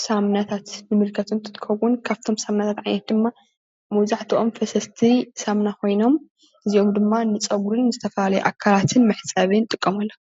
ሳሙናታት ንምልከት እንትከዉን ካብቶም ዓይነታት ደማ መብዛሕትኦም ፈሰስቲ ፈሰስቲ ሳሙና ኮይኖም እዚኦም ድማ ንፅጉሪን ዝተፈላለዩ ኣካላት መሕፅቢ ንጥቀመሎም ።